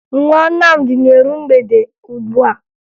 Nwa Nnamdi na-eru mgbede ugbua